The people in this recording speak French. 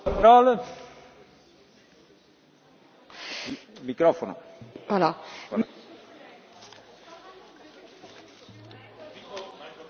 Monsieur le Président, en parallèle à cette objection, j'avais moi même aussi proposé, au nom du groupe ENF, une objection au renouvellement de l'autorisation